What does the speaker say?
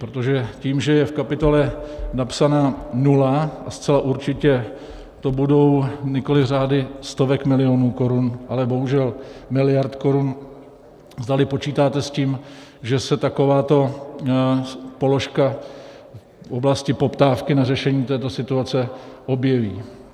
Protože tím, že je v kapitole napsaná nula, a zcela určitě to budou nikoliv řády stovek milionů korun, ale bohužel miliard korun - zdali počítáte s tím, že se takováto položka v oblasti poptávky na řešení této situace objeví.